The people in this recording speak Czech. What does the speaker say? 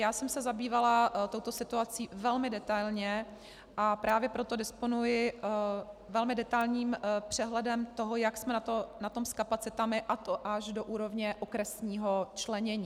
Já jsem se zabývala touto situací velmi detailně a právě proto disponuji velmi detailním přehledem toho, jak jsme na tom s kapacitami, a to až do úrovně okresního členění.